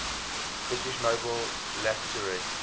british nobel laureates